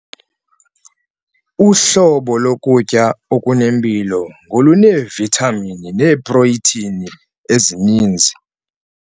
Uhlobo lokutya okunempilo ngoluneevithamini neeprotheyini ezininzi.